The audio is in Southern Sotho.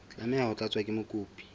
tlameha ho tlatswa ke mokopi